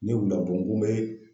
Ne wulila dɔrɔn n ko n bɛ